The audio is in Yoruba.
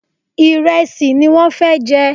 Ìrẹsì ní wọ́n fẹ jẹ